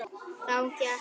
Þá gekk